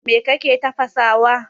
Me kake tafasawa?